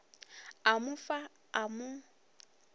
a mo fa a mo